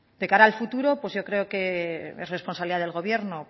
de cara al futuro pues yo creo que es responsabilidad del gobierno